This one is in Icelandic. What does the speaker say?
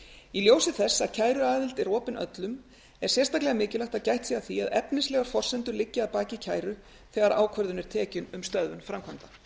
í ljósi þess að kæruaðild er opin öllum er sérstaklega mikilvægt að gætt sé að efnislegar forsendur liggi að baki kæru þegar ákvörðun er tekin um stöðvun framkvæmda